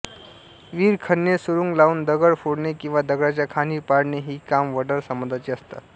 विहिरी खणणे सुरूंग लावून दगड फोडणे किंवा दगडाच्या खाणी पाडणे ही काम वडार समाजाची असतात